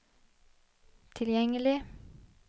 tilgjengelig